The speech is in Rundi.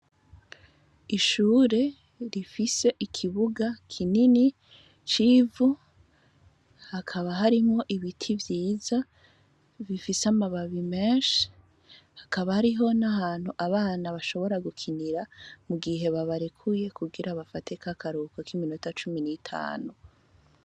Ishure rifise ikibuga kinini c'ivu, hakaba harimwo ibiti vyiza bifise amababi menshi, hakaba hariho n'ahantu abana bashobora gukinira mu gihe babarekuye kugira bafate k'akaruhuko kiminota cumi nitanu.